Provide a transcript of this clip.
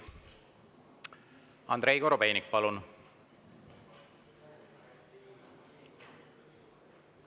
Andrei Korobeinik, palun!